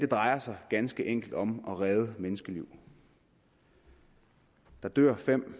drejer sig ganske enkelt om at redde menneskeliv der dør fem